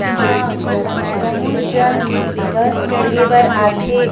इंहा बहुत झन बस चढ़े बर आथे।